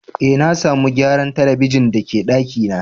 Eh, na samu gyaran telibijin da ke daki na.